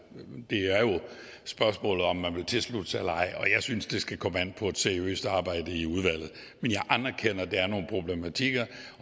spørgsmålet om hvorvidt man vil tilslutte sig eller ej og jeg synes det skal komme an på et seriøst arbejde i udvalget men jeg anerkender at der er nogle problematikker